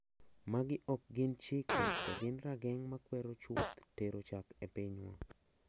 Magi ok gin chike, to gin rageng` makwero chuth tero chak e pinywa.